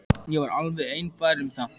Ég var alveg einfær um það.